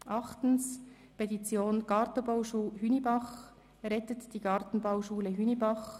Achtens: Petition Gartenbauschule Hünibach: «Rettet die Gartenbauschule Hünibach».